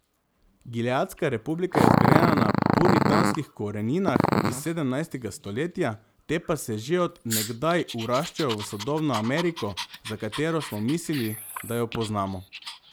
Gileadska republika je zgrajena na puritanskih koreninah iz sedemnajstega stoletja, te pa se že od nekdaj vraščajo v sodobno Ameriko, za katero smo mislili, da jo poznamo.